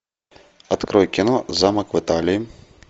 открой кино замок в италии